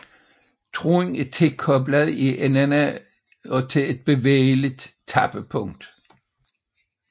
Tråden er tilkoblet i enderne og til et bevægeligt tappepunkt